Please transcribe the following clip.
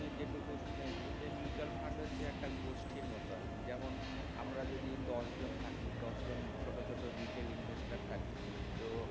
তুই যেটুকু শুনেছিস যে mutual fund হচ্ছে একটা গোষ্ঠীর মত আরকি যেমন আমরা যদি দশজন জন থাকি দশজন ছোট ছোট থাকি তো দশজন ছোট retail investor থাকি তো